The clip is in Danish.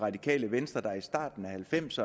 halvfems